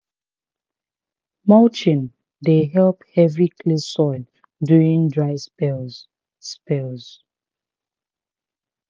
mulching dey help heavy clay soils during dry spells. spells.